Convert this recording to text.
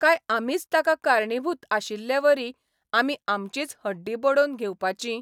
काय आमीच ताका कारणीभूत आशिल्लेवरी आमी आमचींच हड्डीं बडोवन घेवपाचीं?